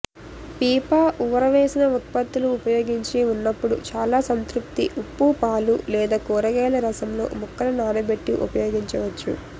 పిపా ఊరవేసిన ఉత్పత్తులు ఉపయోగించి ఉన్నప్పుడు చాలా సంతృప్తి ఉప్పు పాలు లేదా కూరగాయల రసంలో ముక్కలు నానబెట్టి ఉపయోగించవచ్చు